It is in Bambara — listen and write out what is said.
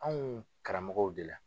Anw karamɔgɔw de la